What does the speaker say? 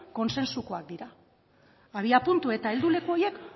kontsensukoak dira abiapuntu eta helduleku horiek